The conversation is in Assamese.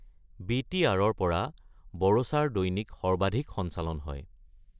বি.টি.আৰ-ৰ পৰা বোড়োচাৰ দৈনিক সৰ্বাধিক সঞ্চালন হয়।